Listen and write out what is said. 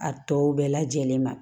A tɔw bɛɛ lajɛlen ma